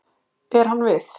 Er hann við?